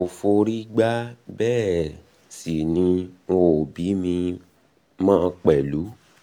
n ò forí gbá bẹ́ẹ̀ um sì ni wọn ò bí mi mọ́ um mi pẹ̀lú um